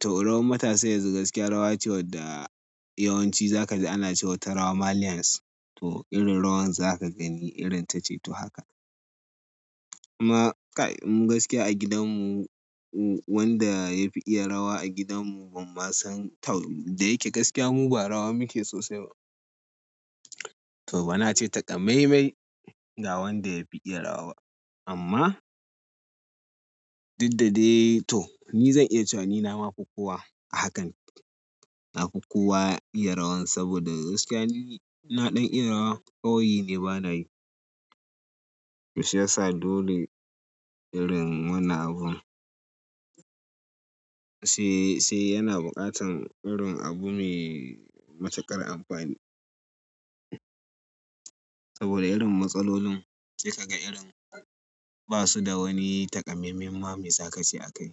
to rawan matasa yanzu gaskiya rawa ce wadda yawanci za ka ji ana cewa ta rawa maliyans. To irin rawan za ka gani irin ta ce to haka. Amma gaskiya a gidanmu wanda ya fi iya rawa a gidanmu ban ma san tau, da yake gaskiya mu ba rawa muke sosai ba. To bana ce taƙamaimai ga wanda ya fi iya rawa ba. Amma dukda dai to, ni zan iya cewa ni nama fi kowa a hakan. Na fi kowa iya rawan saboda gaskiya ni na ɗan iya rawa. Kawai ne bana yi. To shi ya sa dole irin wannan abun. Sai, sai yana buƙatan irin abu mai matuƙar amfani. Saboda irin matsalolin sai ka ga irin, ba su da wani taƙamammen ma me za ka ce a kai.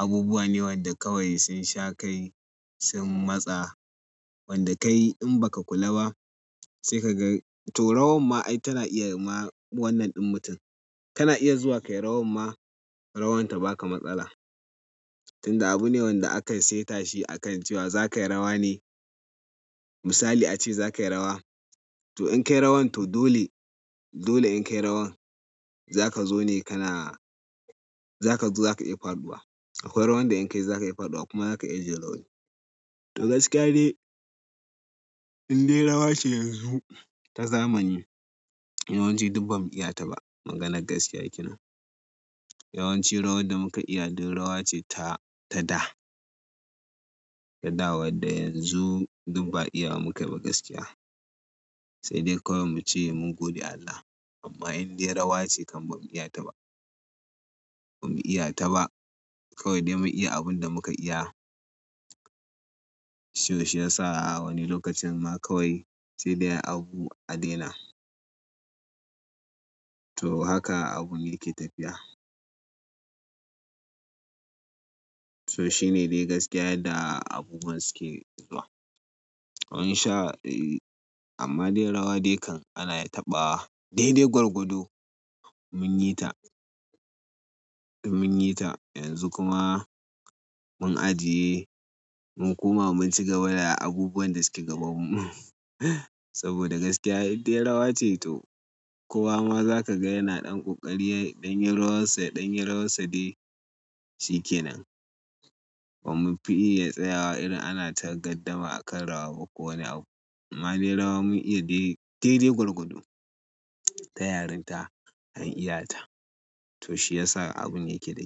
Abubuwa ne wadda kawai sun sha kai, sun matsa wanda kai in ba ka kula ba, sai ka ga to rawan ma ai tana iya ma wannan ɗin mutum. Kana iya zuwa kayi rawar ma, rawan ta baka matsala tunda abu ne wanda aka saita shi akan cewa za ka yi rawa ne. Misali a ce za ka yi rawa, to in ka yi rawan to dole, dole in ka yi rawan za ka zo ne kana, za ka zo za ka iya faɗuwa. Akwai rawan da in ka yi za ka iya faɗuwa kuma za ka iya jin rauni. To gaskiya dai, indai rawa ce yanzu ta zamani, yawanci duk ba mu iya ta ba. Maganar gaskiya yake nan. Yawanci rawar da muka iya duk rawa ce ta, ta da. Ta da wadda yanzu duk ba iyawa mukai ba gaskiya. Sedai kawai muce mun gode Allah. Amma inde rawa ce bamu iya ta ba. Ba mu iya ta ba. Kawai de mun iya abun da muka iya to shi ya sa a wani lokacin ma kawai sai dai abu a daina. To haka abu ne yake tafiya. To shine dai gaskiya da abubuwan suke zuwa. Wani sha, amma dai rawa dai kan ana taɓa dai-dai gwargwado mun yi ta. Mun yi ta yanzu kuma mun ajiye, mun koma mun ci gaba da abubuwan da suke gabanmu. Saboda gaskiya in dai rawa ce to kowa ma za ka ga yana ɗan ƙoƙari, ya ɗan yi rawansa, ya ɗan yi rawansa dai shi ke nan. Ba mu fi iya tsayawa irin ana tagaddama akan rawa ba kowani abu. Amma dai rawa mun iya dai, dai-dai gwargwado. Ta yarinta an iya ta. To shi ya sa abun yake da.